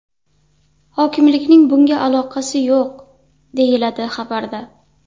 Hokimlikning bunga aloqasi yo‘q”, deyiladi xabarda.